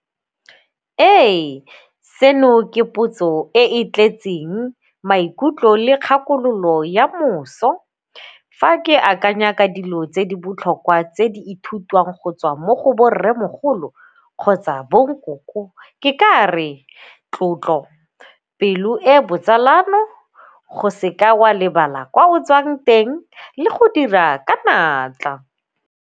Ee, seno ke potso e e tletseng maikutlo le kgakololo ya moso. Fa ke akanya ka dilo tse di botlhokwa tse di ithutiwang go tswa mo go bo rremogolo kgotsa bo nkoko ke ka re tlotlo, pelo e botsalano, go seka wa lebala kwa o tswang teng le go dira ka natla.